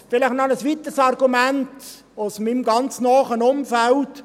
Vielleicht noch ein weiteres Argument aus meinem ganz nahen Umfeld: